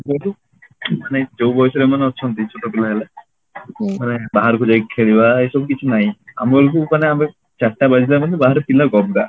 ଯଉଠୁ ମାନେ ଯଉ ବୟସରେ ଏମାନେ ଅଛନ୍ତି ଛୋଟ ପିଲାମାନେ ମାନେ ବାହାରକୁ ଯାଇକି ଖେଳିବା ଏଇ ସବୁ କିଛି ନାହିଁ ଆମବେଳକୁ ମାନେ ଆମେ ଚାରିଟା ବାଜିଲା ମାନେ ବାହାରେ ପିଲା ଗଦା